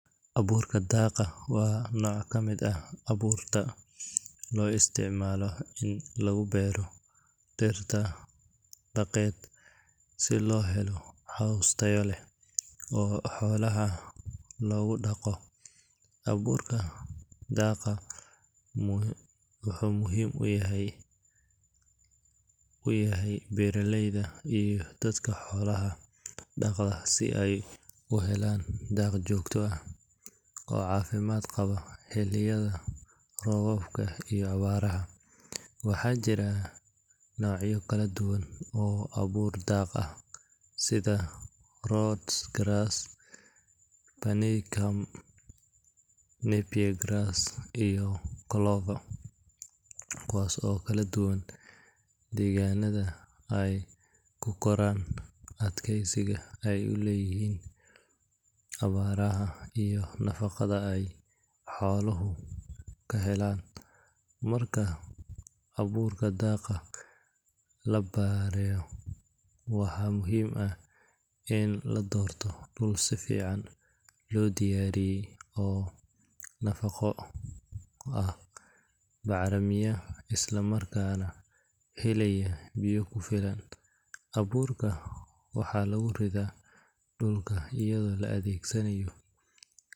Abuurka daaqa waa nooc ka mid ah abuurta loo isticmaalo in lagu beero dhir daaqeed si loo helo caws tayo leh oo xoolaha loogu daaqo. Abuurka daaqa wuxuu muhiim u yahay beeraleyda iyo dadka xoolaha dhaqda si ay u helaan daaq joogto ah oo caafimaad qaba xilliyada roobka iyo abaaraha. Waxaa jira noocyo kala duwan oo abuur daaq ah sida Rhodes grass, Panicum, Napier grass iyo Clover, kuwaas oo ku kala duwan deegaannada ay ku koraan, adkeysiga ay u leeyihiin abaaraha iyo nafaqada ay xooluhu ka helaan. Marka abuurka daaqa la beeraayo, waa muhiim in la doorto dhul si fiican loo diyaariyey, oo nadiif ah, bacrimiya, isla markaana helaya biyo ku filan. Abuurka waxaa lagu ridaa dhulka iyadoo la adeegsanayo.